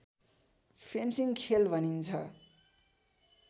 fencing खेल भनिन्छ